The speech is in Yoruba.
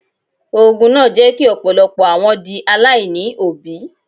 Ogun náà jẹ́ kí ọ̀pọ̀lọpọ̀ àwọn di aláìní òbí.